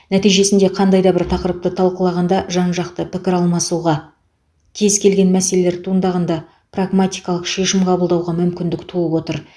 нәтижесінде қандай да бір тақырыпты талқылағанда жан жақты пікір алмасуға кез келген мәселелер туындағанда прагматикалық шешім қабылдауға мүмкіндік туып отыр